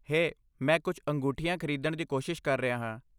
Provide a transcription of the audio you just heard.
ਹੇ, ਮੈਂ ਕੁਝ ਅੰਗੂਠੀਆਂ ਖਰੀਦਣ ਦੀ ਕੋਸ਼ਿਸ਼ ਕਰ ਰਿਹਾ ਹਾਂ।